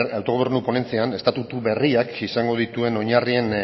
autogobernu ponentzian estatutu berriak izango dituen oinarrien